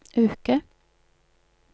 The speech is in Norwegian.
uke